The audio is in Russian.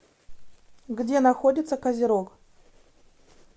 где находится козерог